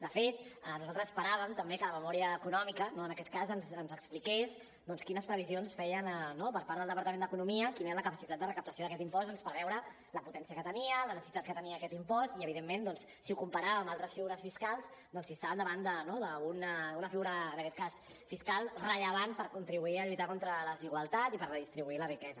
de fet nosaltres esperàvem també que la memòria econòmica no en aquest cas ens expliqués doncs quines previsions feien per part del departament d’economia quina era la capacitat de recaptació d’aquest impost doncs per veure la potència que tenia la necessitat que tenia aquest impost i evidentment si ho comparàvem amb altres figures fiscals doncs si estàvem davant d’una figura en aquest cas fiscal rellevant per contribuir a lluitar contra la desigualtat i per redistribuir la riquesa